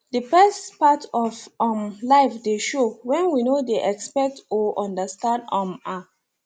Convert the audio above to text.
the best part of um life dey show when we no dey expect or understand um am